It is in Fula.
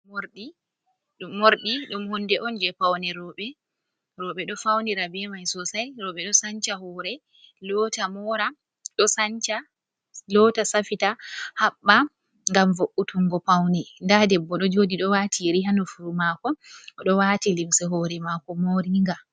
Morɗi, morɗi ɗum hunde'on je Paune rouɓe. Roube ɗo faunira be mai Sosai. Rouɓe ɗo Sancha hoore mora ɗon Sancha loota safita habɓa, ngam vo’utungo Paune. Nda debbo ɗo joɗi ɗo wati yeri ha nofuru mako oɗo wati limse hoore mako moringa.